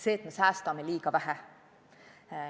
See, et me säästame liiga vähe.